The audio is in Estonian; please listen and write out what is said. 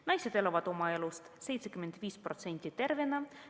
Naised elavad oma elust 75% tervena.